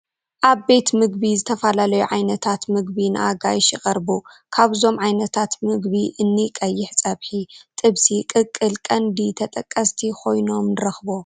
ኣብ ቤት ምግቢ ዝተፈላለዩ ዓይነታት ምግቢ ንኣጋይሽ ይቐርቡ፡፡ ካብዞም ዓይነታት ምግቢ እኒ ቀይሕ ፀብሒ፡ ጥብሲ፣ ቅቅል ቀንዲ ተጠቀስቲ ኮይኖም ንረኽቦም፡፡